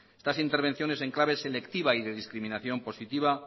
estas intervenciones en clave selectiva y de discriminación positiva